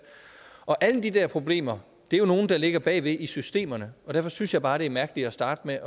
og alle de der problemer er jo nogle der ligger bag ved i systemerne og derfor synes jeg bare det er mærkeligt at starte med